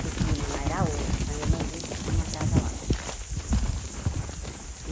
Que o clima lá era outro, com a irmã dele que tinha uma casa lá.